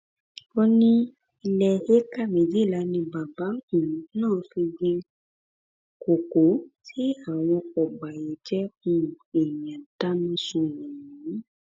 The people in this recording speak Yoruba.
ó ní ilé éékà méjìlá ni bàbá um náà fi gbin kókó tí àwọn ọbàyéjẹ um èèyàn dáná sun ọhún